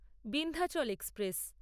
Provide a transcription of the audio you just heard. Vindhyachal express